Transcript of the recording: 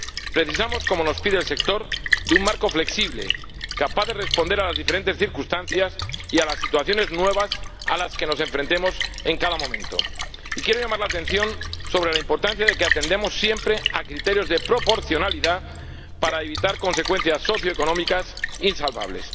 Precisamos, como nos pide el sector, de un marco flexible, capaz de responder a las diferentes circunstancias y a las situaciones nuevas a las que nos enfrentemos en cada momento. Y quiero llamar la atención sobre la importancia de que atendamos siempre a criterios de proporcionalidad para evitar consecuencias socioeconómicas insalvables.